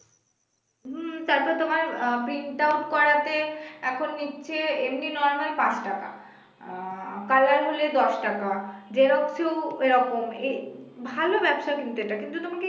হুম তারপর তোমার আ print out করাতে এখন নিচ্ছে এমনি normal পাঁচ টাকা আহ color হলে দশ টাকা xerox এও এরকম এই, ভালো ব্যবসা কিন্তু এটা কিন্তু তোমাকে